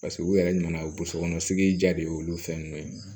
Paseke u yɛrɛ nana bosokɔnɔsigi ja de y'olu fɛn ninnu ye